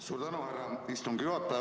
Suur tänu, härra istungi juhataja!